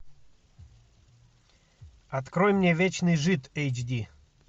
открой мне вечный жид эйч ди